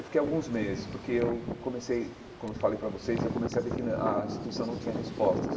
Eu fiquei alguns meses, porque eu comecei, como eu falei para vocês, eu comecei a ver que não a instituição não tinha respostas.